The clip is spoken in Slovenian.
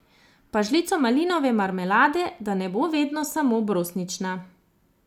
Pa žlico malinove marmelade, da ne bo vedno samo brusnična.